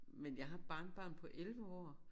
Men jeg har barnebarn på 11 år